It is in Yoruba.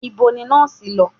Nibo ni nọọsi lọ?